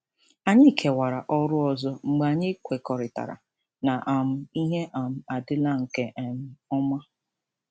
Anyị kewara ọrụ ọzọ mgbe anyị kwekọrịtara na um ihe um adịla nke um ọma.